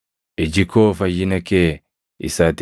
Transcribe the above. Iji koo fayyina kee isa ati